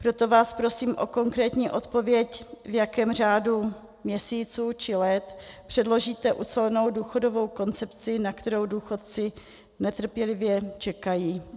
Proto vás prosím o konkrétní odpověď, v jakém řádu měsíců či let předložíte ucelenou důchodovou koncepci, na kterou důchodci netrpělivě čekají.